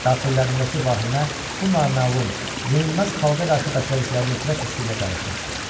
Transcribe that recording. Daxillərindəki vahimə bu naməlum, yenilməz xalqa qarşı bəslədikləri nifrət hissi ilə qarışmışdı.